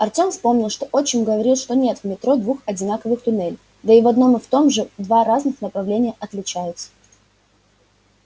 артём вспомнил что отчим говорил что нет в метро двух одинаковых туннелей да и в одном и в том же два разных направления отличаются